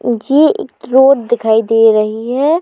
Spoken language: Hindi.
ये एक प्लॉट दिखाई दे रही है।